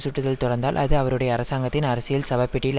சுட்டுதல் தொடர்ந்தால் அது அவருடைய அரசாங்கத்தின் அரசியல் சவ பெட்டியில்